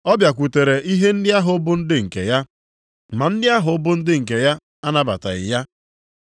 Ọ bịakwutere ihe ndị ahụ bụ ndị nke ya, ma ndị ahụ bụ ndị nke ya anabataghị ya.